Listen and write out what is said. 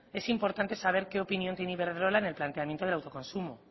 es importante saber qué opinión tiene iberdrola en el planteamiento del autoconsumo